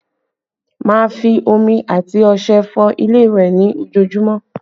Má a fi omi and ọṣẹ fọ ilé ìwẹ̀ ní ojoojúmọ́